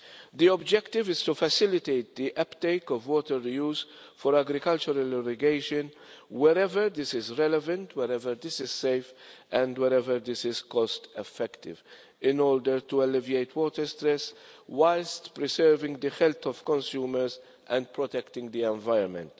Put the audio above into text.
The objective is to facilitate the uptake of water reuse for agricultural irrigation wherever this is relevant, wherever this is safe and wherever this is cost effective, in order to alleviate water stress whilst preserving the health of consumers and protecting the environment.